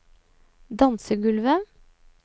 dansegulvet